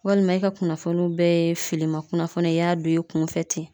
Walima i ka kunnafoniw bɛɛ ye filiman kunnafoniw, i y'a don i kun fɛ ten.